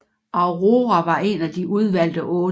Aurora var en af De Udvalgte Otte